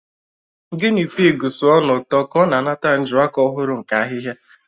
Guinea pig sụọ n'ụtọ ka ọ na-anata njuaka ọhụrụ nke ahihia.